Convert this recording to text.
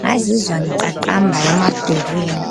ngazizwa ngiqaqamba emadolweni.